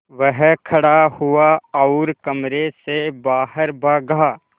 वह खड़ा हुआ और कमरे से बाहर भागा